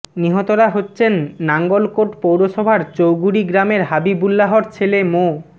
নিহতরা হচ্ছেন নাঙ্গলকোট পৌরসভার চৌগুরি গ্রামের হাবিবুল্লাহর ছেলে মো